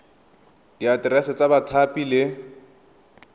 le diaterese tsa bathapi le